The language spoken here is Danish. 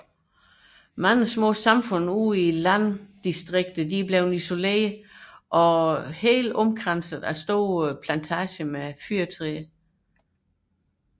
Mange mapuchesamfund i landområderne er blevet isoleret og omringet af store fyrretræsplantager